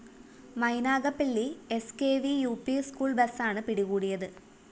Mynagappally S K V U P school ബസാണ് പിടികൂടിയത്